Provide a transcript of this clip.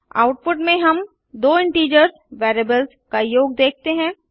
output में हम दो इंटीजर्स वेरिएबल्स का योग देखते हैं